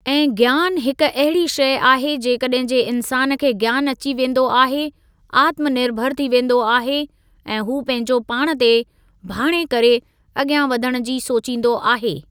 ऐं ज्ञान हिकु अहिड़ी शइ आहे जेकॾहिं जे इंसानु खे ज्ञान अची वेंदो आहे, आत्मर्निभरु थी वेंदो आहे ऐं हू पंहिंजो पाण ते भाणे करे अॻियां वधणु जी सोचींदो आहे।